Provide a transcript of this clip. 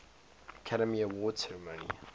academy awards ceremony